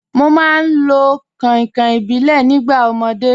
Mo máa ń lo kànkàn ìbílẹ̀ nígbà ọmọdé.